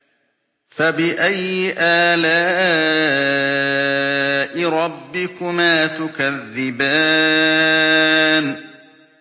فَبِأَيِّ آلَاءِ رَبِّكُمَا تُكَذِّبَانِ